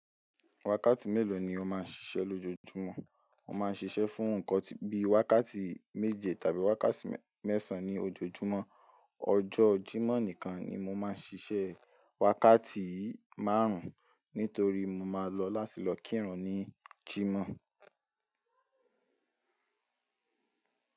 Wákàtí mélòó ni o máa ń ṣiṣẹ́ lójoojúmọ́? Mo máa ń ṣiṣẹ́ fún nǹkan bí i wákàtí méje tàbí wákàtí mẹ́sàn-án ní ojoojúmọ́. Ọjọ́ Jímọ̀ nìkan ni mo máa ń ṣiṣẹ́ wákàtí márùn-ún nítorí mo máa lọ láti lọ kírun ní Jímọ̀.